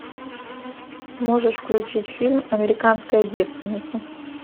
можешь включить фильм американская девственница